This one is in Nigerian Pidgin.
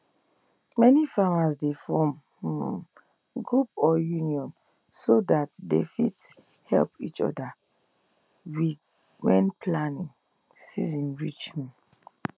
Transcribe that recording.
many farmers dey form um group or union so that they fit help each other when planting season reach um